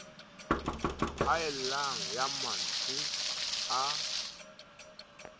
haellang ya ma ntswe a